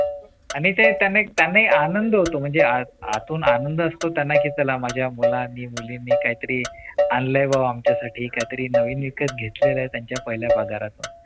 आणि ते त्यांना एक आनंद होतो म्हणजे आतून आनंद असतो त्यांना की चला माझ्या मुलांनी मुलींनी काहीतरी आणले व आमच्या साठी काहीतरी नवीन विकत घेतलेला आहे त्यांच्या पहिल्या पगारातून